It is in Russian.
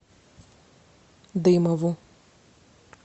дымову